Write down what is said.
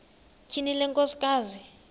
tyhini le nkosikazi